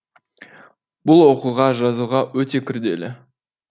бұл оқуға жазуға өте күрделі